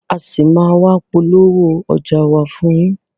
A ṣì máa a wá polówó ọjà wa fún yín.